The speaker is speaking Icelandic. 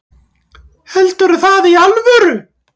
Heldurðu það í alvöru?